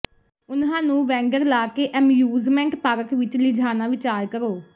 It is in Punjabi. ਉਨ੍ਹਾਂ ਨੂੰ ਵੈਂਡਰ ਲਾ ਐਮਯੂਸਮੈਂਟ ਪਾਰਕ ਵੀ ਲਿਜਾਣਾ ਵਿਚਾਰ ਕਰੋ